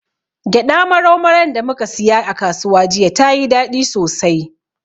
Gyaɗa marau maran da muka siya a kasuwa jiya, tayi daɗi sosai.